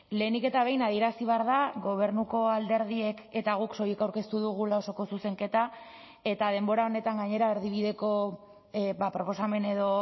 lehenik eta behin adierazi behar da gobernuko alderdiek eta guk soilik aurkeztu dugula osoko zuzenketa eta denbora honetan gainera erdibideko proposamen edo